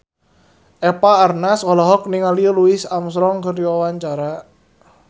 Eva Arnaz olohok ningali Louis Armstrong keur diwawancara